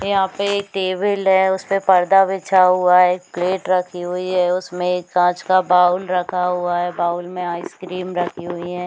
यहाँ पे ये टेबल है उसपे पर्दा बिछा हुआ है एक प्लेट रखी हुई हैं उसमें एक कांच का बाउल रखा हुआ है बाउल में आइसक्रीम रखी हुई है।